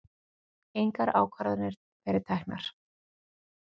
Engar ákvarðanir verið teknar